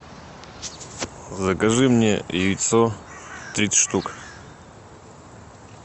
закажи мне яйцо тридцать штук